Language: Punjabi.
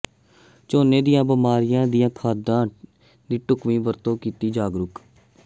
ਝੋਨੇ ਦੀਆਂ ਬਿਮਾਰੀਆਂ ਤੇ ਖਾਦਾਂ ਦੀ ਢੁਕਵੀਂ ਵਰਤੋਂ ਕੀਤਾ ਜਾਗਰੂਕ